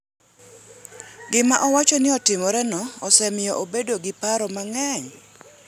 Gima owacho ni otimoreno osemiyo obedo gi paro mang’eny.